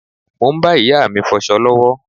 Mo ń bá ìyá mi fọsọ lọ́wọ́.